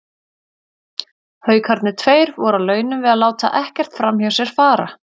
Haukarnir tveir voru á launum við að láta ekkert framhjá sér fara.